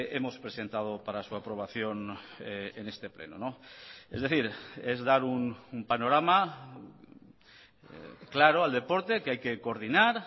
hemos presentado para su aprobación en este pleno es decir es dar un panorama claro al deporte que hay que coordinar